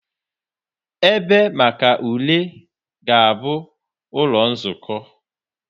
Ebe maka ule ga-abụ ụlọ nzukọ.